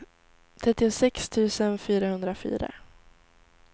trettiosex tusen fyrahundrafyra